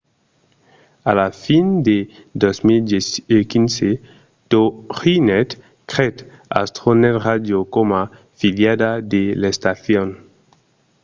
a la fin de 2015 toginet creèt astronet radio coma filiala de l'estacion